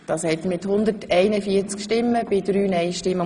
Sie haben Ziffer 3 angenommen.